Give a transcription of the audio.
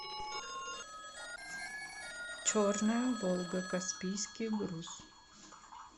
черная волга каспийский груз